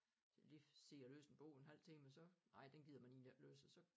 Så lige sidde og læse en bog en halv time og så ej den gider man egentlig ikke læse og så